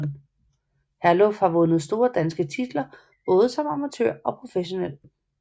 Herluf har vundet store danske titler både som amatør og som professionel